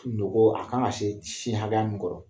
Nogo a kan ka se sin hakɛya min kɔrɔ.